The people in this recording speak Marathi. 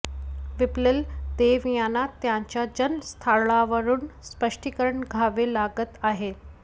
विप्लल देव यांना त्यांच्या जन्म स्थळावरून स्पष्टीकरण द्यावे लागत आहे